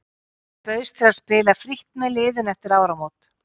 Ég bauðst til að spila frítt með liðinu eftir áramót.